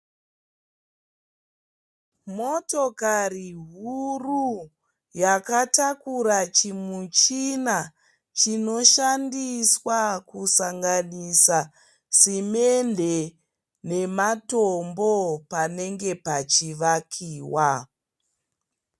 Motokari huru yakatakura chimuchina chinoshandiswa kusanganisa simende nematombo panenge pachivakiwa.